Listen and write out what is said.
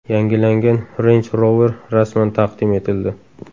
Yangilangan Range Rover rasman taqdim etildi.